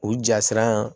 U jasiran